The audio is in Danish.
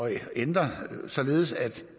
at ændre det således at